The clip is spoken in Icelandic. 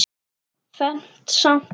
Fermt samt.